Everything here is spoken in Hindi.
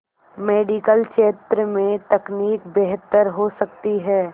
मेडिकल क्षेत्र में तकनीक बेहतर हो सकती है